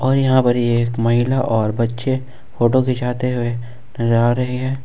और यहां पर ही एक महिला और बच्चे फोटो खींचाते हुए नजर जा रहे हैं।